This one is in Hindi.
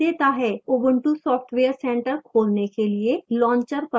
ubuntu software center खोलने के लिए launcher पर जाएं